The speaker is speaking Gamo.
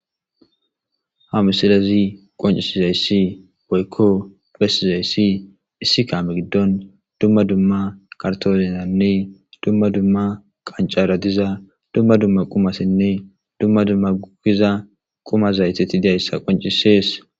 Ha missilezi qoncisizayis woyikko besizayis issi kame gidon dumma dumma karitonezane dumma dumma qancara diza dumma dumma qumatine dumma dumma giza quma zayite dizayisa qincises.